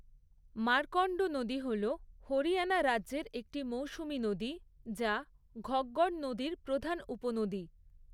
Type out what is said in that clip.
মার্কণ্ড নদী হল হরিয়ানা রাজ্যের একটি মৌসুমী নদী, যা ঘগ্গর নদীর প্রধান উপনদী।